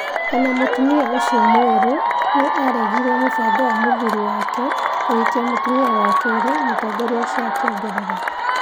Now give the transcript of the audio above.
O na mũtumia ũcio mwerũ nĩ aaregire mũbango wa mũthuuri wake kũhikia mũtumia wa kerĩ, mũtongoria ũcio akĩongerera.